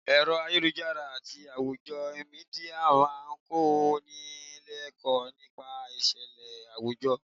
Ẹ̀rọ ayélujára àti àwùjọ Mídíà máa ń kó ni l'ekoo nípa ìṣẹ̀lẹ̀ àwùjọ.